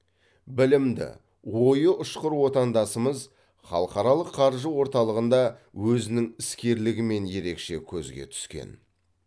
білімді ойы ұшқыр отандасымыз халықаралық қаржы орталығында өзінің іскерлігімен ерекше көзге түскен